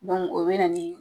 Dɔnku o bena nin